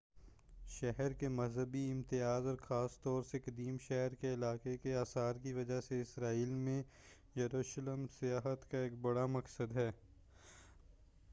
شہر کے مذہبی امتیاز اور خاص طور سے قدیم شہر کے علاقہ کے آثار کی وجہ سے اسرائیل میں یروشلم سیاحت کا ایک بڑا مقصد ہے